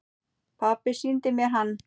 Pabbi sýndi mér hann.